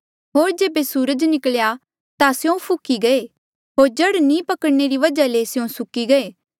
होर जेबे सूरज निकल्या ता स्यों फुख्ही गये होर जड़ नी पकड़णने री वजहा ले स्यों सुक्की गये